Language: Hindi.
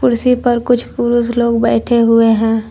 कुर्सी पर कुछ पुरुष लोग बैठे हुए हैं।